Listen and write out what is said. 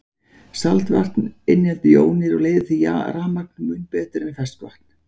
Saltvatn inniheldur jónir og leiðir því rafmagn mun betur en ferskvatn.